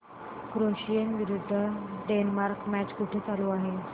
Croatia विरुद्ध Denmark match कुठे चालू आहे